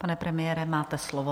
Pane premiére, máte slovo.